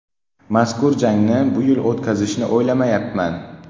Mazkur jangni bu yil o‘tkazishni o‘ylamayapman.